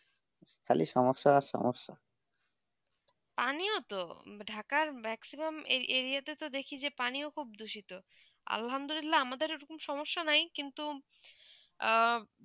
খালি সমস্যা সমস্যা আমিও তো ঢাকার maximum area তো দেখি যে পানীয় খুব দূষিত আমাদের ঐই রকম সমস্যা নেই কিন্তু